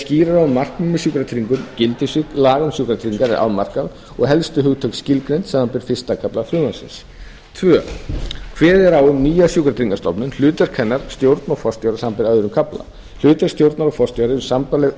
um markmið með sjúkratryggingum gildissvið laga um sjúkratryggingar er afmarkað og helstu hugtök skilgreind samanber fyrstu kafla frumvarpsins annars kveðið er á um nýja sjúkratryggingastofnun hlutverk hennar stjórn og forstjóra samanber aðra kafla hlutverk stjórnar og forstjóra eru sambærileg